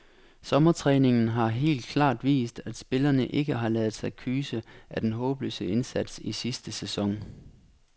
Sommertræningen har helt klart vist, at spillerne ikke har ladet sig kyse af den håbløse indsats i sidste sæson.